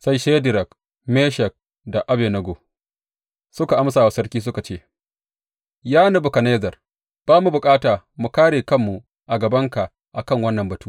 Sai Shadrak, Meshak da Abednego suka amsa wa sarki suka ce, Ya Nebukadnezzar, ba mu bukata mu kāre kanmu a gabanka a kan wannan batu.